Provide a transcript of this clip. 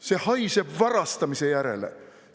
See haiseb varastamise järele.